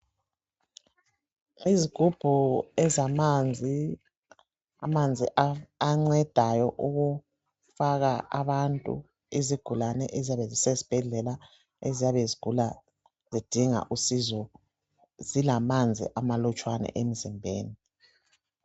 Izigubhu ezamanzi amanzi ancedayo ukufaka izigulani eziyabe zasesibhedlela eziyabe zigula zidinga usizo zilamanzi ama nlutshwana emzimbeni